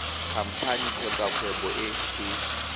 khamphane kgotsa kgwebo e e